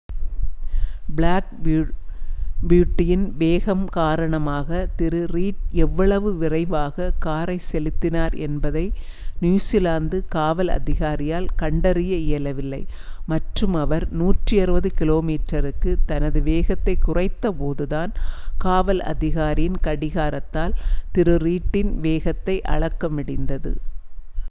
Black பியூட்டியின் வேகம் காரணமாக திரு.ரீட் எவ்வளவு விரைவாக காரை செலுத்தினார் என்பதை நியுசிலாந்து காவல் அதிகாரியால் கண்டறிய இயலவில்லை மற்றும் அவர் 160km/hக்கு தனது வேகத்தை குறைத்தபோதுதான் காவல் அதிகாரியின் கடிகாரத்தால் திரு. ரீட்டின் வேகத்தை அளக்க முடிந்தது